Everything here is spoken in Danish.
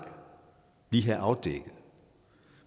lige have afdækket